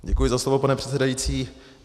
Děkuji za slovo, pane předsedající.